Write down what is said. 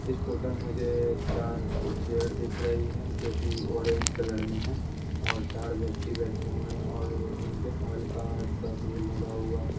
इस फोटो में मुझे चार कुल चेयर दिख रही है जोकि ऑरेंज कलर में है और चार व्यक्ति बैठे हुए हैं और इंडियन ऑयल का ट्रक भी लगा हुआ है।